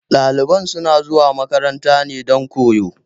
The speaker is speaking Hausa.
Ɗalibai suna zuwa makaranta ne dan koyo